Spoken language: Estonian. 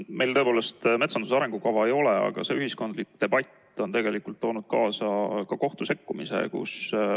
Meil tõepoolest metsanduse arengukava ei ole, aga ühiskondlik debatt on toonud kaasa ka kohtu sekkumise.